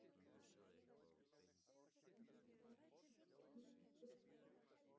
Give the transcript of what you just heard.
Ítalir eru því heimsmeistarar í knattspyrnu í fjórða sinn!